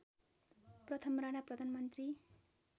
प्रथम राणा प्रधानमन्त्री